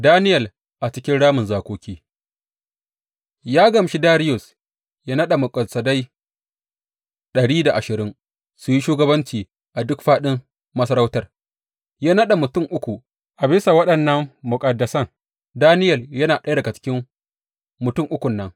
Daniyel a cikin ramin zakoki Ya gamshi Dariyus ya naɗa muƙaddasai dari da ashirin su yi shugabanci a duk fāɗin masarautar, ya naɗa mutum uku a bisa waɗannan muƙaddasan, Daniyel yana ɗaya daga cikin mutum ukun nan.